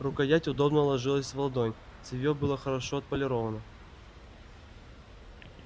рукоять удобно ложилась в ладонь цевье было хорошо отполировано